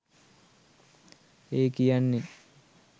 ඒ කියන්නේ